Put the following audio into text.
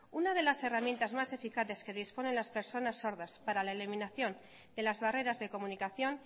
una de las herramientas más eficaces que disponen las personas sordas para la eliminación de las barreras de comunicación